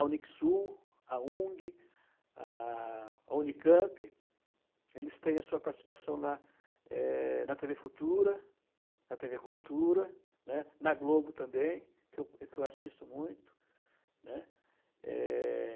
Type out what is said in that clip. A Unixul, a Ung, a, a Unicamp, eles têm a sua participação na eh, na tê vê Futura, na tê vê Cultura, né, na Globo também, que eu que eu assisto muito, né. É...